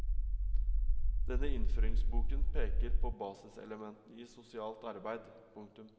Denne innføringsboken peker på basiselementene i sosialt arbeid. punktum